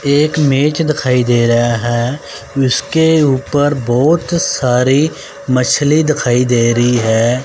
एक मेज दिखाई दे रहा है। जिसके ऊपर बहोत सारी मछली दिखाई दे रही है।